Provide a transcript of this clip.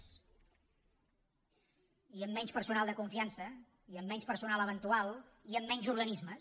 i amb menys personal de confiança i amb menys personal eventual i amb menys organismes